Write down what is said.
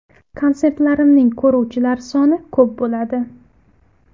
Konsertlarimning ko‘ruvchilar soni ko‘p bo‘ladi.